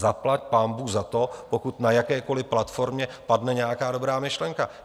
Zaplať pánbůh za to, pokud na jakékoliv platformě padne nějaká dobrá myšlenka.